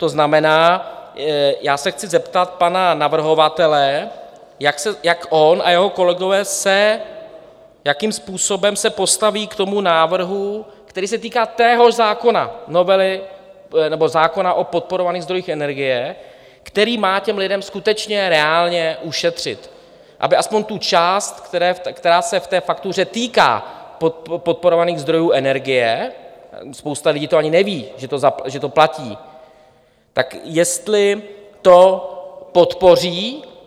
To znamená, já se chci zeptat pana navrhovatele, jak on a jeho kolegové se, jakým způsobem se postaví k tomu návrhu, který se týká téhož zákona, novely nebo zákona o podporovaných zdrojích energie, který má těm lidem skutečně reálně ušetřit, aby aspoň tu část, která se v té faktuře týká podporovaných zdrojů energie, spousta lidí to ani neví, že to platí, tak jestli to podpoří.